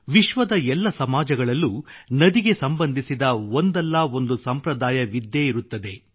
ವಿಶ್ವದ ಎಲ್ಲ ಸಮಾಜಗಳಲ್ಲೂ ನದಿಗೆ ಸಂಬಂಧಿಸಿದ ಒಂದಲ್ಲ ಒಂದು ಸಂಪ್ರದಾಯವಿದ್ದೇ ಇರುತ್ತದೆ